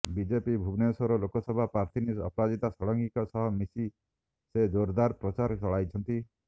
BJP Bhubaneswar Lok Sabha ପ୍ରାର୍ଥିନୀ ଅପରାଜିତା ଷଡ଼ଙ୍ଗୀଙ୍କ ସହ ମିଶି ସେ ଜୋର୍ଦାର୍ ପ୍ରଚାର ଚଳାଇଛନ୍ତି